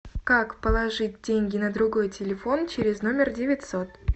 как положить деньги на другой телефон через номер девятьсот